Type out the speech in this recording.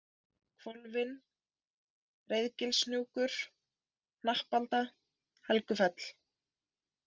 Hvolfin, Reiðgilshnjúkur, Hnappalda, Helgufell